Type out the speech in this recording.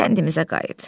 Kəndimizə qayıt.